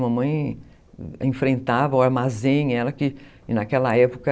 Mamãe enfrentava o armazém, ela que, naquela época,